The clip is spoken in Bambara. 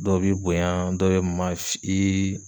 Dɔw b'i bonya dɔ bɛ maf ii